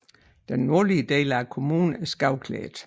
Den nordlige del af kommunen er skovklædt